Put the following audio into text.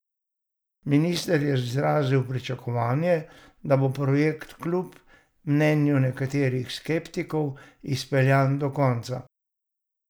Minister je izrazil pričakovanje, da bo projekt kljub mnenju nekaterih skeptikov izpeljan do konca.